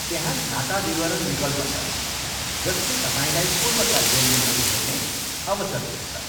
त्यहाँ खाता विवरण विकल्प छ, जसले तपाईँलाई पूर्वका लेनदेनहरू हेर्ने अवसर दिन्छ।